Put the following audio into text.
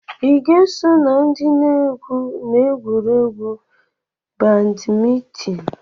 ị ga-eso na ndị na-egwu n'egwuregwu badmintịn?